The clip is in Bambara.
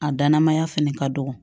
A dannamaya fɛnɛ ka dɔgɔ